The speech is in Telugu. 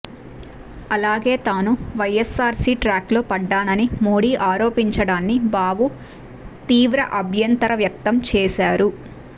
అలాగే తాను వైఎస్సా ర్సీ ట్రాక్లో పడ్డానని మోడీ ఆరోపించడాన్ని బాబు తీవ్ర అభ్యంతర వ్యక్తం చేశారు